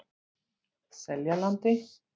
Seljalandi